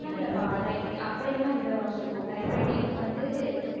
அப்படி எல்லாம் இல்லபா அப்படி எல்லாம் இல்ல வாசு type writing வந்து